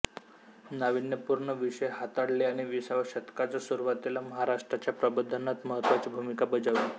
नाविन्यपूर्ण विषय हाताळले आणि विसाव्या शतकाच्या सुरुवातीला महाराष्ट्राच्या प्रबोधनात महत्त्वाची भूमिका बजावलि